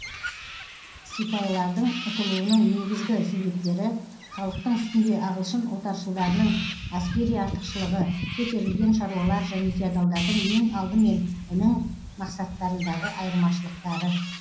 сипайлардың ұтылуының негізгі себептері халықтың үстінде ағылшын отаршылдарының әскери артықшылығы көтерілген шаруалар және феодалдардың ең алдымен інің мақсаттарындағы айырмашылықтары